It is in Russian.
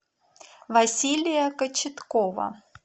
василия кочеткова